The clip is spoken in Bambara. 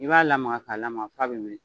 I b'a lamaga k'a lamaga f'a bɛ wili